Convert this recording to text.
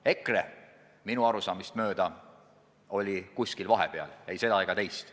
EKRE oli minu arusaamist mööda kuskil vahepeal: ei seda ega teist.